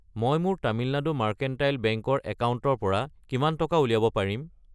মই মোৰ Tamil Nadu mercantile bank ৰ একাউণ্টৰ পৰা কিমান টকা উলিয়াব পাৰিম?